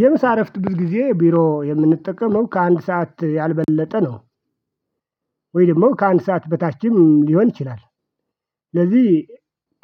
የምሳ እረፍት ብዙጊዜ ቢሮ የምንጠቀመው ከ አንድ ሰዓት ያልበለጠ ነው ወይ ደግሞ ከአንድ ሰዓት በታችም ሊሆን ይችላል። ስለዚህ